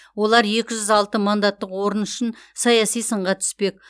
олар екі жүз алты мандаттық орын үшін саяси сынға түспек